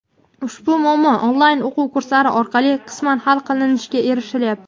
Ushbu muammo onlayn o‘quv kurslari orqali qisman hal qilinishiga erishilyapti.